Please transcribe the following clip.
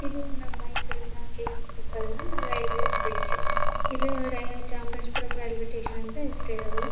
ಇದು ನಮ್ಮ ಮೈಸೂರಿನ ಕೆಜಿ ಕೊಪ್ಪಲ್ ನ ರೈಲ್ವೆ ಬ್ರಿಜ್ ಇದು ರ ಚಾಮರಾಜಪುರಂ ರೈಲ್ವೆ ಸ್ಟೇಷನ್ ಅಂತ ಹೆಸರಿರೋದು.